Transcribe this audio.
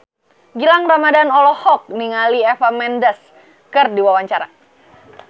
Gilang Ramadan olohok ningali Eva Mendes keur diwawancara